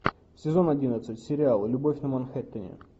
сезон одиннадцать сериал любовь на манхэттене